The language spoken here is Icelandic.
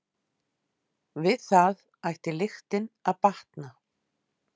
Við það ætti lyktin að batna.